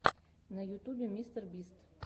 на ютубе мистер бист